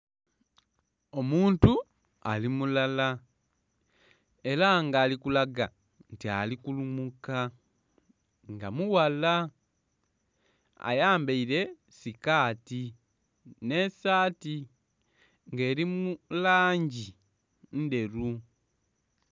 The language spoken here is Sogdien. Omuntu ali mulala era nga ali kulaga nti ali kulumuka nga mughala ayambaire sikati n'esaati nga eri mulangi ndheru.